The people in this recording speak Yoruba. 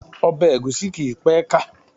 Ọbẹ̀ ègúsí kìí pé ka